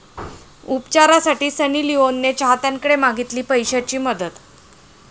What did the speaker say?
उपचारासाठी सनी लिओनने चाहत्यांकडे मागितली पैशांची मदत!